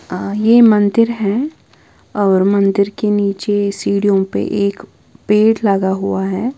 आ ये मंदिर है और मंदिर के नीचे सीढ़ियों पे एक पेड़ लगा हुआ है।